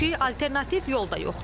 Çünki alternativ yol da yoxdur.